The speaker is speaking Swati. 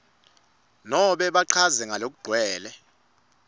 nobe bachaze ngalokugcwele